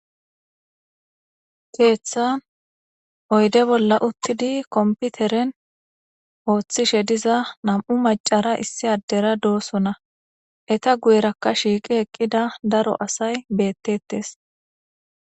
keeththan oyde bolla uttidi komputeren ooththishe diza nam7u macara issi addera doosona eta guyerakka shiiqi eqqida daro asay beettetes